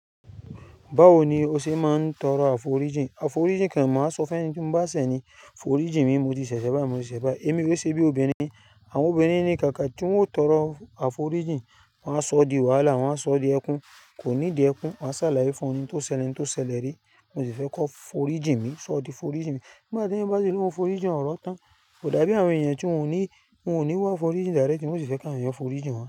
Báwo ni o ṣe máa ń tọrọ àforíjìn? Àforíjìn ke, màá sọ fún ẹní tí mo bá ṣẹ̀ ni, foríjìn mi mo ti ṣẹ̀ṣẹ̀ bayi, mo ṣẹ̀ báyi. Èmi ó ṣe bí obìnrin, àwọn obìnrin ni kaka tí wọn ó tọrọ àforíjìn, wọn a sọ di wàhálà, wọn a sọ di ẹkún, kò nidi ẹkún, waa sàláyé fún ni ohun tó ṣẹlẹ ohun tó ṣẹlẹ̀ re. Mo sì fẹ́ ko foríjìn mi, soo ti foríjìn mi. Nígbà tí eeyan bá si lóun foríjìn ọ̀ oro tán, kò dàbí àwọn èèyàn tí wọ́n ò ní, wọ́n ò ní wá aforíjìn directly, wọ́n ò sì fẹ́ káwọn eyan foríjìn wọn.